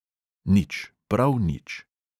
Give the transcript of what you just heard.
Nič, prav nič.